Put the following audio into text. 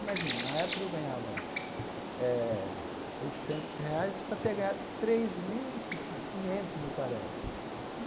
Imagina, na época que eu ganhava eh oitocentos reais, passei a ganhar três mil e ci quinhentos, me parece.